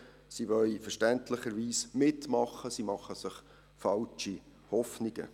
Sie wollen verständlicherweise mitmachen und machen sich falsche Hoffnungen.